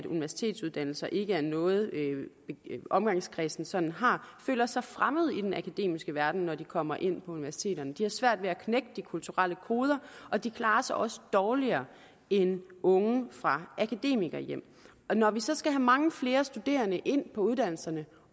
universitetsuddannelser ikke er noget omgangskredsen sådan har føler sig fremmede i den akademiske verden når de kommer ind på universiteterne de har svært ved at knække de kulturelle koder og de klarer sig også dårligere end unge fra akademikerhjem når vi så skal have mange flere studerende ind på uddannelserne